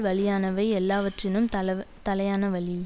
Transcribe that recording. வலியானவை யெல்லாவற்றினும் தல தலையான வலி